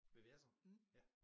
VVS'er ja